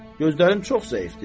Gözlərim çox zəifdir.